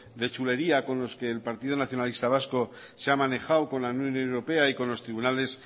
de chulería con los que el partido nacionalista vasco se ha manejado con la unión europea y con los tribunales